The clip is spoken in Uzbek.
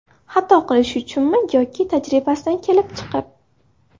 Xato qilishi uchunmi yoki tajribasidan kelib chiqib?